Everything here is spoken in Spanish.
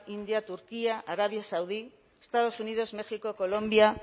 india turquía arabia saudí estados unidos méxico colombia